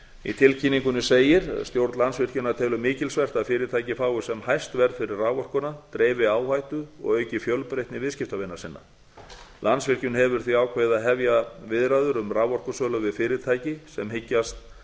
í tilkynningunni segir stjórn landsvirkjunar telur mikilsvert að fyrirtækið fái sem hæst verð fyrir raforkuna dreifi áhættu og auki fjölbreytni viðskiptavina sinna landsvirkjun hefur því ákveðið að hefja viðræður um raforkusölu við fyrirtæki sem hyggjast